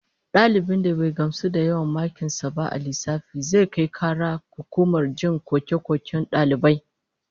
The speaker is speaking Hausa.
Dalibin da bai gamsu da yawan makin sa ba a lissafi, zai kai kara ga hukumar jin koke-koken dalibai